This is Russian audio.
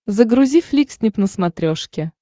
загрузи фликснип на смотрешке